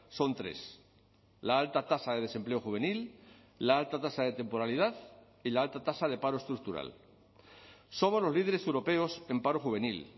son tres la alta tasa de desempleo juvenil la alta tasa de temporalidad y la alta tasa de paro estructural somos los líderes europeos en paro juvenil